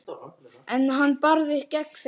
En hann barðist gegn þeim.